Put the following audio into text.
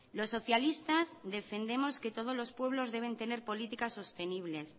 los socialistas defendemos que todos los pueblos deben tener políticas sostenibles